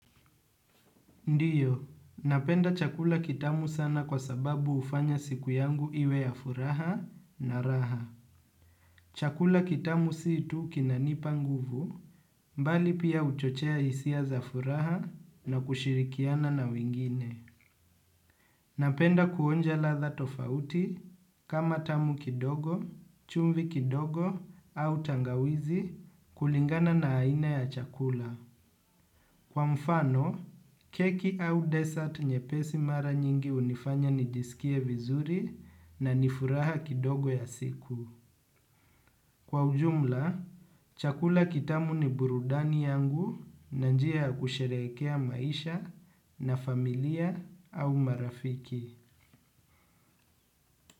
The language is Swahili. Ndiyo, napenda chakula kitamu sana kwa sababu ufanya siku yangu iwe ya furaha na raha. Chakula kitamu si tu kinanipa nguvu mbali pia huchochea hisia za furaha na kushirikiana na wengine. Napenda kuonja ladha tofauti kama tamu kidogo, chumvi kidogo au tangawizi kulingana na aina ya chakula. Kwa mfano, keki au dessert nye pesi mara nyingi hunifanya nijisikie vizuri na nifuraha kidogo ya siku. Kwa ujumla, chakula kitamu ni burudani yangu na njia ya kusherekea maisha na familia au marafiki.